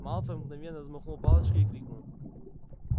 малфой мгновенно взмахнул палочкой и крикнул